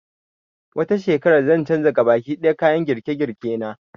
Wata shekarar zan canza gabaki ɗaya kayan girke-girke na